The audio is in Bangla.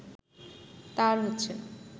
তা আর হচ্ছে না